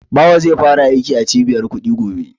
Bawa zai fara aiki a Cibiyar kuɗi gobe.